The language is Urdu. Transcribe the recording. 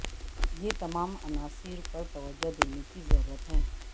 یہ تمام عناصر پر توجہ دینے کی ضرورت ہے